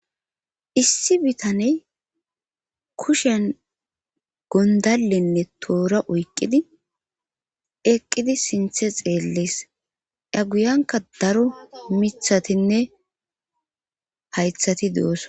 Issi bitaney kushen gondallenne toora oyqqidi eqqidi sinthe xeellees a guyanka daro mithatinne haythati de'osona.